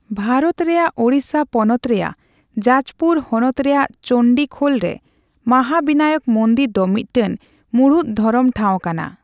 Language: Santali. ᱵᱷᱟᱨᱚᱛ ᱨᱮᱭᱟᱜ ᱳᱲᱤᱥᱟ ᱯᱚᱱᱚᱛ ᱨᱮᱭᱟᱜ ᱡᱟᱡᱽᱯᱩᱨ ᱦᱚᱱᱚᱛ ᱨᱮᱭᱟᱜ ᱪᱚᱱᱰᱤᱠᱷᱳᱞ ᱨᱮ ᱢᱟᱦᱟᱵᱤᱱᱟᱭᱚᱠ ᱢᱚᱱᱫᱤᱨ ᱫᱚ ᱢᱤᱫᱴᱮᱱ ᱢᱩᱲᱩᱫ ᱫᱷᱚᱨᱚᱢ ᱴᱷᱟᱣ ᱠᱟᱱᱟ ᱾